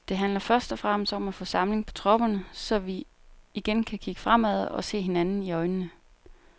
Det handler først og fremmest om at få samling på tropperne, så vi igen kan kigge fremad og se hinanden i øjnene.